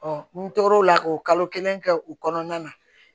n tor'o la k'o kalo kelen kɛ u kɔnɔna na